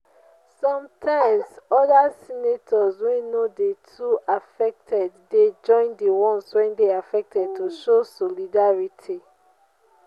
sometimes other sector wey no de too affected de join di ones wey de affected to show solidarity